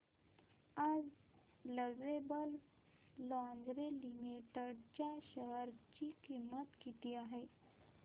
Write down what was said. आज Lovable Lingerie Limited च्या share ची किंमत किती आहे